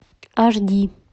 аш ди